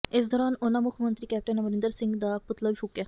ਇਸ ਦੌਰਾਨ ਉਨ੍ਹਾਂ ਮੁੱਖ ਮੰਤਰੀ ਕੈਪਟਨ ਅਮਰਿੰਦਰ ਸਿੰਘ ਦਾ ਪੁਤਲਾ ਵੀ ਫੂਕਿਆ